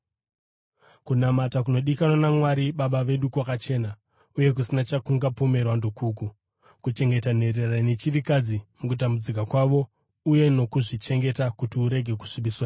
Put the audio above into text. Kunamata kunodikanwa naMwari Baba vedu kwakachena, uye kusina chakungapomerwa ndokuku: kuchengeta nherera nechirikadzi mukutambudzika kwavo uye nokuzvichengeta kuti urege kusvibiswa nenyika.